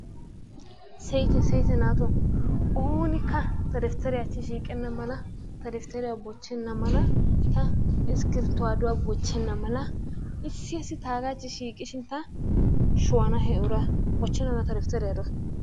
Siyitte siyitte naato oonikka ta daftare achchi siiqqenna mala ta daftariyo bochchena mala ta iskifirtuwaduwa bochchena mala issi asi taagachi shiiqishin ta sho'ana he uraa bochenadan ta daftare duwa.